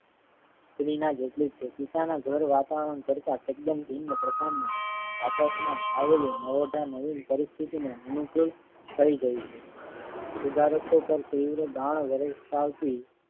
જેટલું જ છે. પિતાના ઘર વાતાવરણ કરતા તદ્દન ભિન્ન પ્રકારના આચારમાં આવેલી નવોઢા નવીન પરિસ્થિતિને અનુકૂળ થઈ રહી છે. સુધારકો પર તીવ્ર દાણ